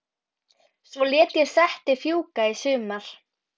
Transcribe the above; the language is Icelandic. Svo lét ég settið fjúka í sumar.